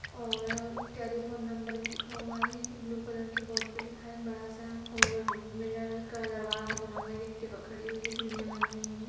और telephone number भी लिखा हुआ है ब्लू कलर के बोर्ड पे लिखा है एक बड़ा-साऔर मिरर का दरवाजा बना हुआ है एक्टीवा खड़ी हुई है सीढ़िया बनी हुई है।